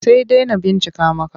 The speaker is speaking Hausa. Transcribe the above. Sai dai na bincika maka.